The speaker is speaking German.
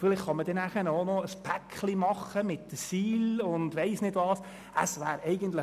Vielleicht kann man dann auch ein Paket mit den SIL und möglicherweise anderen Themen machen.